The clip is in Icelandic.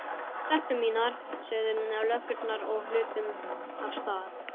Stelpur mínar sögðu löggurnar og hlupu af stað.